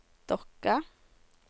Dokka